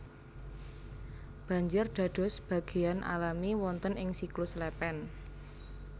Banjir dados bagéan alami wonten ing siklus lèpèn